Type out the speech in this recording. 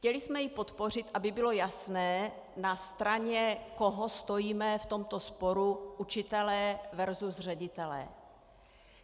Chtěli jsme ji podpořit, aby bylo jasné, na straně koho stojíme v tomto sporu učitelé versus ředitelé.